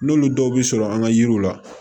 N'olu dɔw bɛ sɔrɔ an ka yiriw la